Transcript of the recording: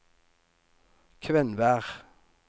Kvenvær